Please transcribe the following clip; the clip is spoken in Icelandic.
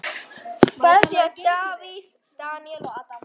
Kveðja: Davíð, Daníel og Adam.